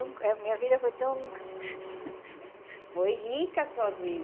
Ai, minha vida foi tão... Foi rica a sua vida?